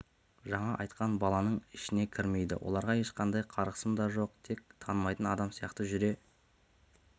жаңа айтқан баланың ішіне кірмейді оларға ешқандай қарғысым да жоқ тек танымайтын адам сияқты жүре